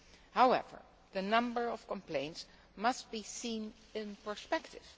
ones. However, the number of complaints must be seen in perspective.